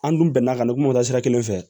An dun bɛnna ka na kuma sira kelen fɛ